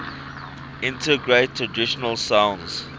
integrate traditional sounds